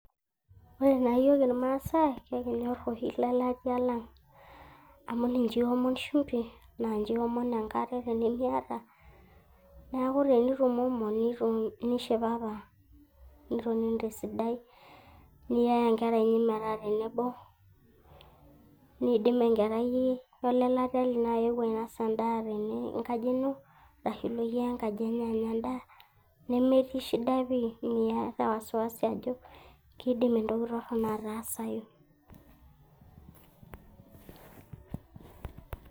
Ore taa iyook ilmaasai ekinyor oshi lelatia lang, amu ninche iomon shumbi, naa ninche iomon enkare tinimiata. Neaku tinitumomo naa ishipapa nitonini te sidai niyaya inkera inyi metaa tenebo, niidim enkerai olelatia ino ayewuo ainosa endaa tenkaji ino aashu ilo iyie enkaji enye anya endaa nemetii shida pii meata wasiwasi ajo keidim entoki torono atasai.